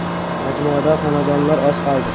Majmuada xonadonlar oz qoldi.